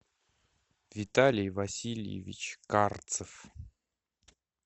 виталий васильевич карцев